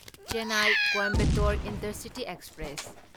Chennai Coimbatore intercity express